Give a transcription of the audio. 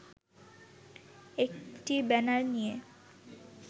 একটি ব্যানার নিয়ে